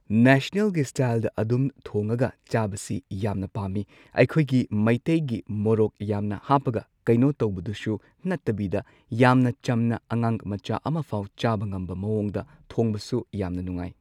ꯅꯦꯁꯅꯦꯜꯒꯤ ꯁ꯭ꯇꯥꯏꯜꯗ ꯑꯗꯨꯝ ꯊꯣꯡꯉꯒ ꯆꯥꯕꯁꯤ ꯌꯥꯝꯅ ꯄꯥꯝꯃꯤ ꯑꯩꯈꯣꯏꯒꯤ ꯃꯩꯇꯩꯒꯤ ꯃꯣꯔꯣꯛ ꯌꯥꯝꯅ ꯍꯥꯞꯄꯒ ꯀꯩꯅꯣ ꯇꯧꯕꯗꯨꯁꯨ ꯅꯠꯇꯕꯤꯗ ꯌꯥꯝꯅ ꯆꯝꯅ ꯑꯉꯥꯡ ꯃꯆꯥ ꯑꯃꯐꯥꯎ ꯆꯥꯕ ꯉꯝꯕ ꯃꯑꯣꯡꯗ ꯊꯣꯡꯕꯁꯨ ꯌꯥꯝꯅ ꯅꯨꯡꯉꯥꯏ꯫